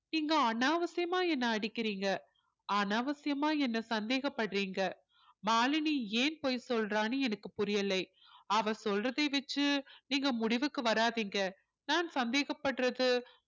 நீங்க அநாவசியமா என்னை அடிக்கிறீங்க அநாவசியமா என்னை சந்தேகப்படுறீங்க மாலினி ஏன் பொய் சொல்றான்னு எனக்கு புரியல அவ சொல்றதை வச்சு நீங்க முடிவுக்கு வராதீங்க நான் சந்தேகப்படுறது